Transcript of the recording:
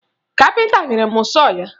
Kapịnta nyere m sọọ ya